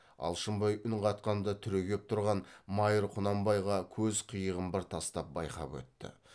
алшынбай үн қатқанда түрегеп тұрған майыр құнанбайға көз қиығын бір тастап байқап өтті